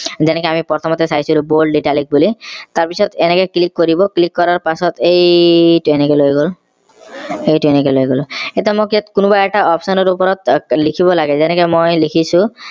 যেনেকৈ আমি প্ৰথমতে চাইছিলো bold italic বুলি তাৰ পিছত এনেকে click কৰিব click কৰাৰ পিছত এইটো এনেকে লৈ গল এইটো এনেকে লৈ গলো এতিয়া মোক ইয়াত কোনোবা এটা option ৰ ওপৰত লিখিব লাগে যেনেকে মই লিখিছো